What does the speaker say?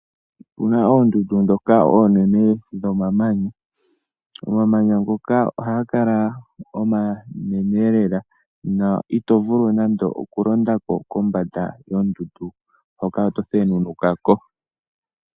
Opu na oondundu ndhoka oonene dhomamanya. Omamanya ngoka ohaga kala omanene lela na oto vulu nando okulonda ko kombanda yondundu hoka oto thenunuka ko.